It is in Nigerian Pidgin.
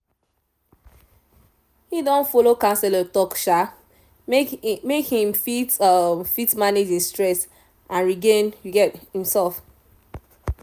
he don follow counselor talk um make e um fit fit manage e stress and regain um himself